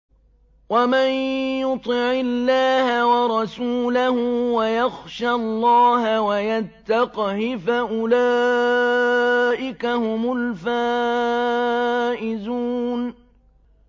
وَمَن يُطِعِ اللَّهَ وَرَسُولَهُ وَيَخْشَ اللَّهَ وَيَتَّقْهِ فَأُولَٰئِكَ هُمُ الْفَائِزُونَ